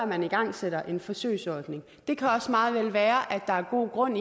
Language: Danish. man igangsætter en forsøgsordning det kan også meget vel være at der er god grund